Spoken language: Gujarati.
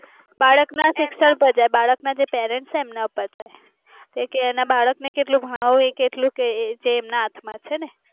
બાળક ના શિક્ષણ બલાક્નાજ જે parents છે એમના ઉપર છે. કે એના બાળકને કેટલું ભણવું એ કેટલું કેં ક એ એમના હાથ માં છે.